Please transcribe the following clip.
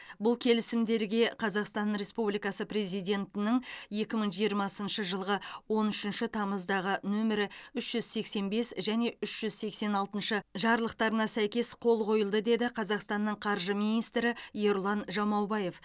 бұл келісімдерге қазақстан республикасы президентінің екі мың жиырмасыншы жылғы он үшінші тамыздағы нөмірі үш жүз сексен бес және үш жүз сексен алтыншы жарлықтарына сәйкес қол қойылды деді қазақстанның қаржы министрі ерұлан жамаубаев